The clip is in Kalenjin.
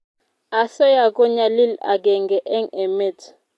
asoya ko nyalil agenge eng emet